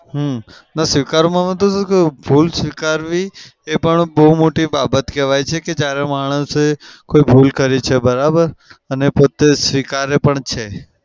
હમ ને સ્વીકારવામાં તો શું ભૂલ સ્વીકારવી એ પણ બઉ મોટી બાબત કેવાય છે કે જ્યારે માણસે કોઈ ભૂલ કરી છે બરાબર? અને પોતે સ્વીકારી પણ છે.